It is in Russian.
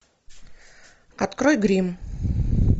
открой гримм